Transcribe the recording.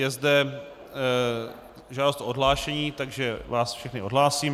Je zde žádost o odhlášení, takže vás všechny odhlásím.